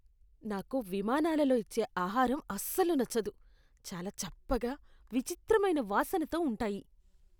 నాకు విమానాలలో ఇచ్చే ఆహారం అస్సలు నచ్చదు. చాలా చప్పగా, విచిత్రమైన వాసనతో ఉంటాయి.